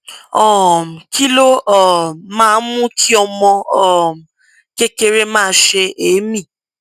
um kí ló um máa ń mú kí ọmọ um kékeré máa sé èémí